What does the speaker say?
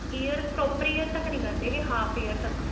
ears proper ear ਤੱਕ ਨਹੀਂ ਕਰਦੇ ਹੈਗੇ half ear ਤੱਕ